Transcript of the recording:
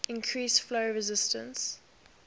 increase flow resistance